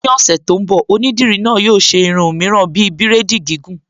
Ní ọ̀sẹ̀ tó ń bọ̀, Onídìrí náà yóò ṣe irun mìíràn bíi bírèdì gìgùn